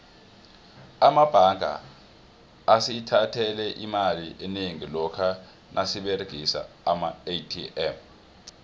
amabanga asithathele imali enengi lokha nasiberegisa amaatm